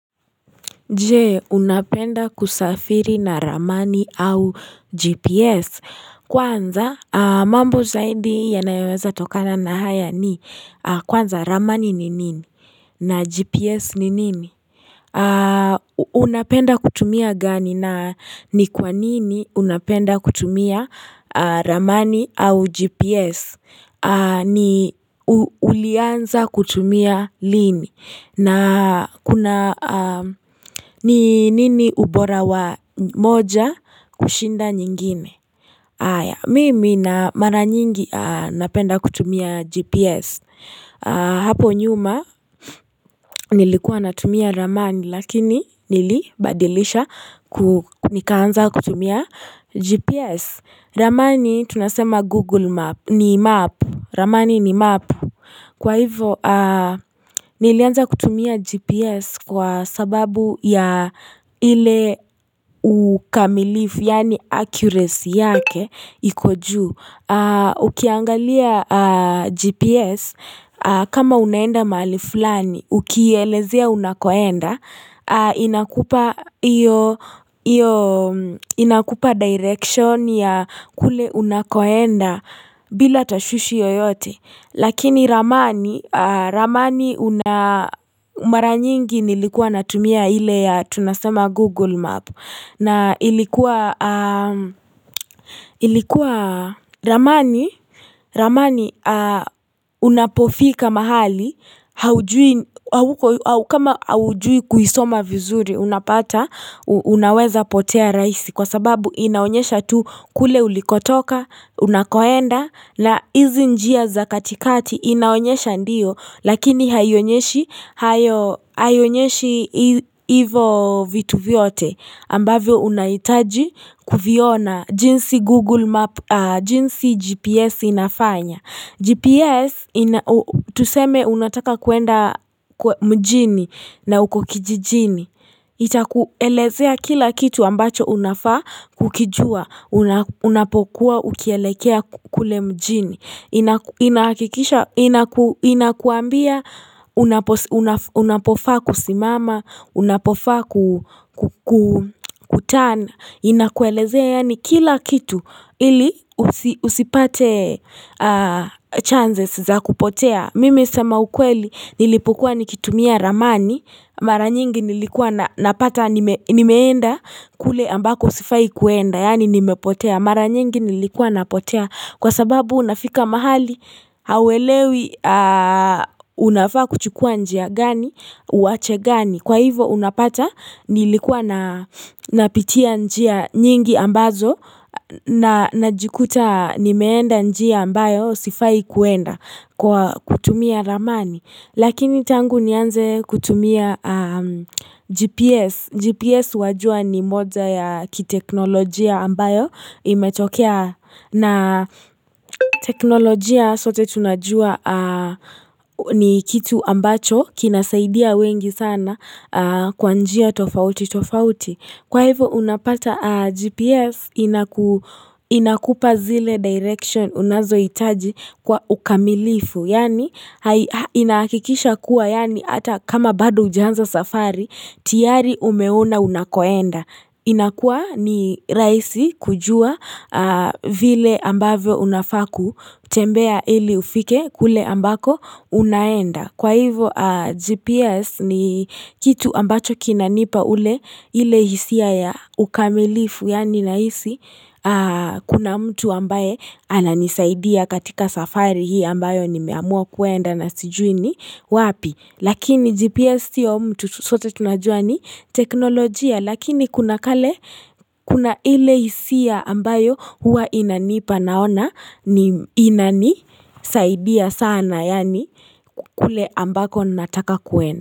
Je unapenda kusafiri na ramani au gps kwanza mambo zaidi yanayoweza tokana na haya ni kwanza ramani ni nini na gps ni nini Unapenda kutumia gani na ni kwanini unapenda kutumia ramani au gps ni ulianza kutumia lini na kuna ni nini ubora wa moja kushinda nyingine Mimi na mara nyingi napenda kutumia GPS Hapo nyuma nilikuwa natumia ramani Lakini nilibadilisha nikaanza kutumia GPS Ramani tunasema Google Map ni Map Ramani ni Map Kwa hivo, nilianza kutumia GPS kwa sababu ya ile ukamilifu, yani accuracy yake, ikoju. Ukiangalia GPS, kama unaenda mali fulani, ukiyelezea unakoenda, inakupa direction ya kule unakoenda bila tashushi yoyote. Lakini ramani una mara nyingi nilikuwa natumia ile ya tunasema Google Map na ilikuwa ramani unapofika mahali kama aujui kuisoma vizuri unapata unaweza potea raisi Kwa sababu inaonyesha tu kule ulikotoka unakoenda na hizi njia za katikati inaonyesha ndiyo lakini hayonyeshi hivo vitu vyote ambavyo unaitaji kufiona jinsi google map jinsi gps inafanya gps tuseme unataka kuenda mjini na ukokijijini itakuelezea kila kitu ambacho unafa kukijua Unapokuwa ukielekea kule mjini Inakikisha, inakuambia Unapofa kusimama Unapofa kutana Inakuelezea yani kila kitu Ili usipate chances za kupotea Mimi sema ukweli nilipokuwa nikitumia ramani Maranyingi nilikuwa napata nimeenda kule ambako usifai kuenda Yani nimepotea mara nyingi nilikua napotea kwa sababu unafika mahali hawelewi unafaa kuchukua njia gani uache gani kwa hivo unapata nilikua napitia njia nyingi ambazo na najikuta nimeenda njia ambayo sifai kuenda kwa kutumia ramani. Lakini tangu nianze kutumia GPS, GPS wajua ni moja ya kiteknolojia ambayo imetokea na teknolojia sote tunajua ni kitu ambacho kinasaidia wengi sana kwa njia tofauti tofauti. Kwa hivyo unapata GPS inakupa zile direction unazoitaji kwa ukamilifu. Yani inakikisha kuwa yani ata kama bado hujanza safari tiari umeona unakoenda. Inakua ni raisi kujua vile ambavyo unafa kutembea ili ufike kule ambako unaenda. Kwa hivyo GPS ni kitu ambacho kinanipa ule ile hisia ya ukamilifu yani naisi kuna mtu ambaye ananisaidia katika safari hii ambayo nimeamua kuenda na sijui ni wapi. Lakini GPS siyo mtu sote tunajua ni teknolojia lakini kuna kale kuna ile isia ambayo hua inanipa naona ni inanisaidia sana yani kule ambako nataka kuenda.